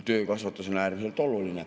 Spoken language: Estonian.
Töökasvatus on äärmiselt oluline.